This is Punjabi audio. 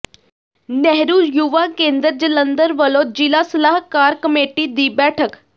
ਨਹਿਰੂ ਯੁਵਾ ਕੇਂਦਰ ਜਲੰਧਰ ਵੱਲੋਂ ਜ਼ਿਲ੍ਹਾ ਸਲਾਹਕਾਰ ਕਮੇਟੀ ਦੀ ਬੈਠਕ